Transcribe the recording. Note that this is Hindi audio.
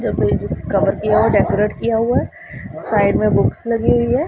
जिस कपबोर्ड की ओर डेकोरेट किया हुआ है साइड में बुक्स लगी हुई है।